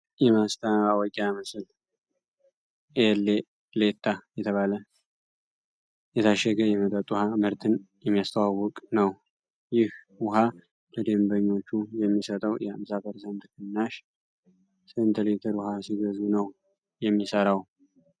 የማስታወቂያ ምስል "ኤሌሌታ" የተባለ የታሸገ የመጠጥ ውኃ ምርትን የሚያስተዋውቅ ነው። ይህ ውኃ ለደንበኞቹ የሚሰጠው የ50% ቅናሽ ስንት ሊትር ውኃ ሲገዙ ነው የሚሰራው?